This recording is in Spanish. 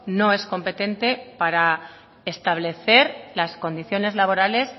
no es competente para establecer las condiciones laborales